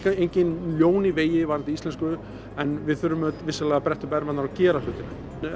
engin ljón í vegi varðandi íslensku en við þurfum vissulega að bretta upp ermarnar og gera hlutina